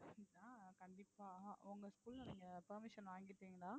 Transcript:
கண்டிப்பா உங்க school ல நீங்க permission வாங்கிட்டீங்களா?